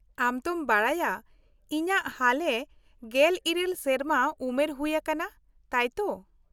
-ᱟᱢ ᱛᱚᱢ ᱵᱟᱰᱟᱭᱟ ᱤᱧᱟᱹᱜ ᱦᱟᱞᱮ ᱑᱘ ᱥᱮᱨᱢᱟ ᱩᱢᱮᱨ ᱦᱩᱭ ᱟᱠᱟᱱᱟ, ᱛᱟᱭ ᱛᱚ ?